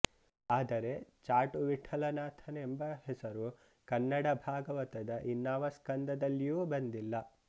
ಆದರೆ ಚಾಟುವಿಠಲನಾಥನೆಂಬ ಹೆಸರು ಕನ್ನಡ ಭಾಗವತದ ಇನ್ನಾವ ಸ್ಕಂಧದಲ್ಲಿಯೂ ಬಂದಿಲ್ಲ